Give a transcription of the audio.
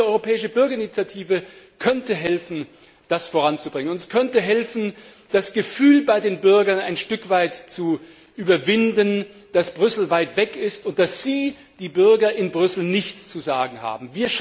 Aber eine solche europäische Bürgerinitiative könnte helfen, das voranzubringen, und es könnte helfen, das Gefühl bei den Bürgern ein Stück weit zu überwinden, dass Brüssel weit weg ist und dass sie die Bürger in Brüssel nichts zu sagen haben.